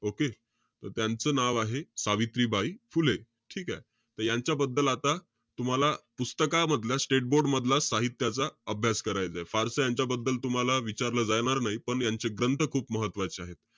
Okay? त्यांचं नाव आहे, सावित्रीबाई फुले. ठीकेय? त यांच्याबद्दल आता, तुम्हाला पुस्तकांमधल्या state board मधल्या साहित्याचा अभ्यास करायचंय. फारसं तुम्हाला यांच्याबद्दल विचारलं जाणार नाही. त्यांचे ग्रंथ खूप महत्वाचे आहेत.